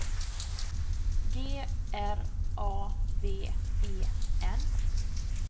G R A V E N